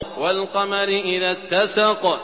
وَالْقَمَرِ إِذَا اتَّسَقَ